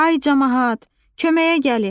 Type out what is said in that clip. Ay camaat, köməyə gəlin!